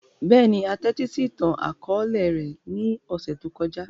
Bẹ́ẹ̀ni, a tẹtisi itan-akọọlẹ rẹ ni ọsẹ to kọja.